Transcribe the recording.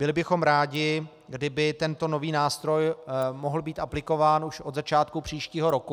Byli bychom rádi, kdyby tento nový nástroj mohl být aplikován už od začátku příštího roku.